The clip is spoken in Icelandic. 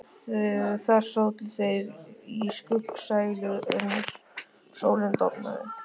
Þar sátu þeir í skuggsælu uns sólin dofnaði.